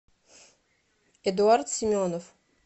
эдуард семенов